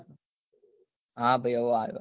હા ભાઈ હવે આવ્યો